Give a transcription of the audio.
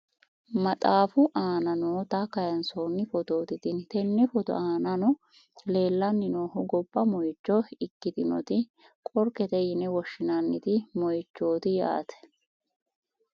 maxaafu aana noota kayiinsoonni footooti tini, tenne footo aanano leelanni noohu gobba moyiicho ikkitinoti qorkete yine woshshinanni moyiichooti yaate .